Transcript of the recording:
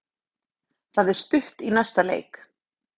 Það er stutt í næsta leik.